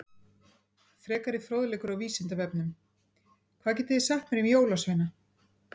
Frekari fróðleikur á Vísindavefnum Hvað getið þið sagt mér um jólasveina?